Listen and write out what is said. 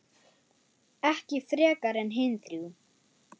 Ekki frekar en hin þrjú.